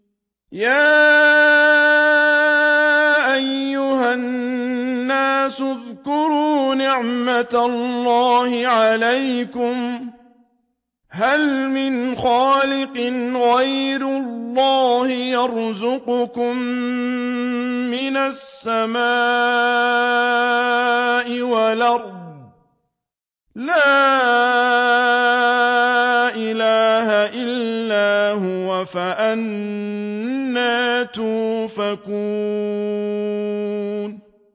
يَا أَيُّهَا النَّاسُ اذْكُرُوا نِعْمَتَ اللَّهِ عَلَيْكُمْ ۚ هَلْ مِنْ خَالِقٍ غَيْرُ اللَّهِ يَرْزُقُكُم مِّنَ السَّمَاءِ وَالْأَرْضِ ۚ لَا إِلَٰهَ إِلَّا هُوَ ۖ فَأَنَّىٰ تُؤْفَكُونَ